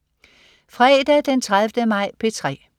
Fredag den 30. maj - P3: